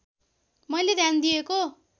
मैले ध्यान दिएको